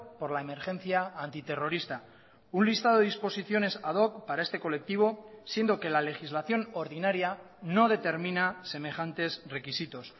por la emergencia antiterrorista un listado de disposiciones ad hoc para este colectivo siendo que la legislación ordinaria no determina semejantes requisitos